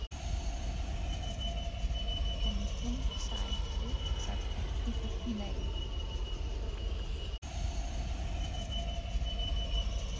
En hún sagði það ekki við neinn.